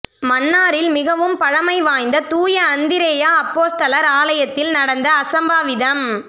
மன்னாரில் மிகவும் பழமை வாய்ந்த தூய அந்திரேயா அப்போஸ்தலர் ஆலயத்தில் நடந்த அசம்பாவிதம்